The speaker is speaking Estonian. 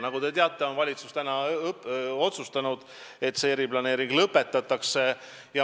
Nagu te teate, on valitsus otsustanud, et see eriplaneering lõpetatakse.